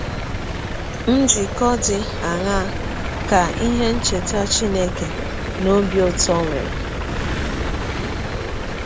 Njikọ dị aṅaa ka ihe ncheta Chineke na ọbi ụtọ nwere?